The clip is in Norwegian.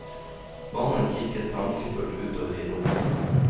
Mannen kikket tankefullt utover i rommet.